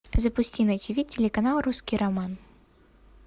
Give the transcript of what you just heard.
запусти на тиви телеканал русский роман